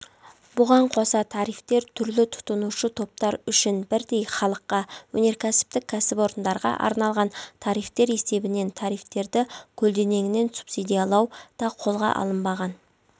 бұған қоса тарифтер түрәлі тұтынушы топтар үшін бірдей халыққа өнеркәсіптік кәсіпорындарға арналған тарифтер есебінен тарифтерді көлденеңінен субсидиялау да қолға алынбаған